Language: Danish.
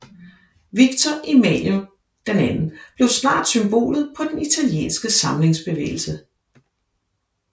Victor Emmanuel II blev snart symbolet på den italienske samlingsbevægelse